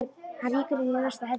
Hann rýkur inn í næsta herbergi.